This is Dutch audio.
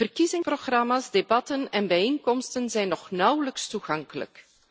Verkiezingsprogramma's, debatten en bijeenkomsten zijn nog steeds nauwelijks toegankelijk.